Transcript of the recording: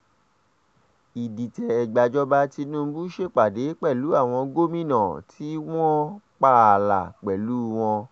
ìdìtẹ̀-gbàjọba tìnùbù ṣèpàdé pẹ̀lú àwọn gómìnà tó wọn pààlà pẹ̀lú wọn